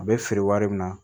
A bɛ feere wari min na